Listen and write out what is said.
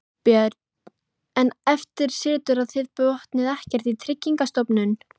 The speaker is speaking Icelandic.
Björn: En eftir situr að þið botnið ekkert í Tryggingastofnun?